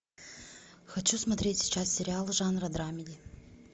хочу смотреть сейчас сериал жанра драмеди